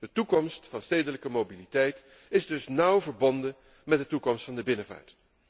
De toekomst van de stedelijke mobiliteit is dus nauw verbonden met de toekomst van de binnenvaart.